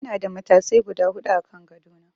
Ina da matasai guda huɗu a kan gado na.